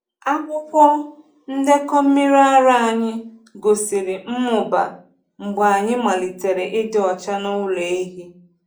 Akwụkwọ ndekọ mmiri ara anyị gosiri mmụba mgbe anyị melitere ịdị ọcha n’ụlọ ehi.